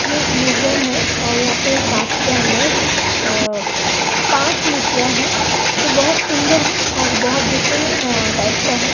ये एक म्यूजियम है और यहां पे कांच के अन्दर अ पांच मुर्तिया है जो बहुत सुन्दर है और बहुत डीफ्रेंट अ टाइप का है।